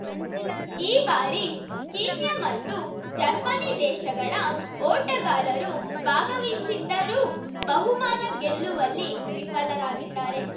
ಈ ಬಾರಿ ಕೀನ್ಯ ಮತ್ತು ಜರ್ಮನಿ ದೇಶಗಳ ಓಟಗಾರರು ಭಾಗವಹಿಸಿದ್ದರೂ ಬಹುಮಾನ ಗೆಲ್ಲುವಲ್ಲಿ ವಿಫಲರಾಗಿದ್ದಾರೆ